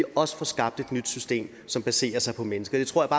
også får skabt et nyt system som baserer sig på mennesker det tror